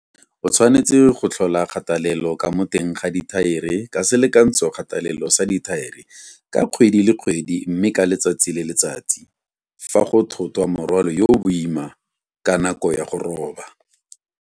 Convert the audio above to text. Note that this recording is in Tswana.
O tshwanetse go tlhola kgatelelo ka mo teng ga thaere ka selekantshokgatelelo sa dithaere ka kgwedi le kgwedi mme ka letsatsi le letsatsi fa go thotwa morwalo yo o boima ka nako ya go roba.